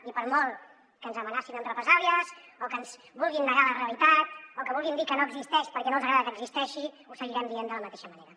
i per molt que ens amenacin amb represàlies o que ens vulguin negar la realitat o que vulguin dir que no existeix perquè no els agrada que existeixi ho seguirem dient de la mateixa manera